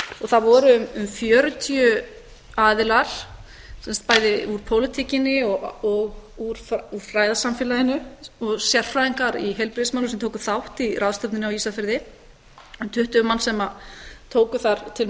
og það voru um fjörutíu aðilar sem sagt bæði úr pólitíkinni og úr fræðasamfélaginu og sérfræðingar í heilbrigðismálum sem tóku þátt í ráðstefnunni á ísafirði um tuttugu manns sem tóku þar til